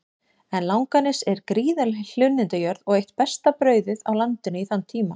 En Langanes er gríðarleg hlunnindajörð og eitt besta brauðið á landinu í þann tíma.